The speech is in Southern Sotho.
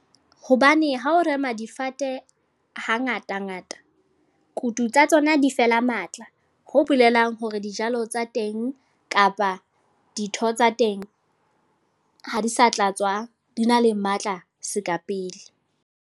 Hobane ha o rema difate, hangata-ngata. Kutu tsa tsona di fela matla. Ho bolelang hore dijalo tsa teng kapa ditho tsa teng, ha di sa tla tswa di na le matla seka pele.